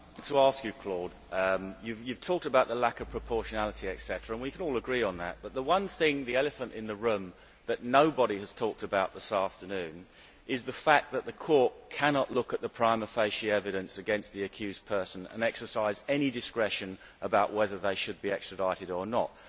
Mr President, Claude Moraes talked about the lack of proportionality, etc. We can all agree on that, but the one thing the elephant in the room that nobody has talked about this afternoon is the fact that the court cannot look at the prima facie evidence against the accused person and exercise any discretion about whether they should be extradited or not.